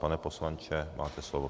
Pane poslanče, máte slovo.